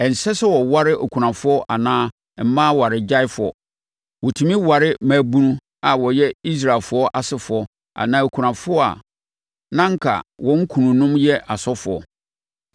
Ɛnsɛ sɛ wɔware akunafoɔ anaa mmaa awaregyaefoɔ. Wɔtumi ware mmaabunu a wɔyɛ Israelfoɔ asefoɔ anaa akunafoɔ a na anka wɔn kununom yɛ asɔfoɔ.